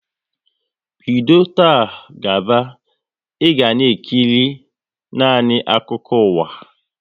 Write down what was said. Bido taa gaba, e ga na ekiri nanị akụkọ ụwa!